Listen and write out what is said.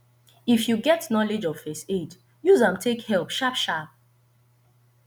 if you get knowlege of first aid use am take help sharp sharp